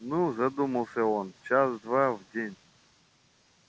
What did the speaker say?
ну задумался он час-два в день